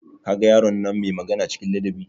Kaga yaron nan mai magana cikin ladabi?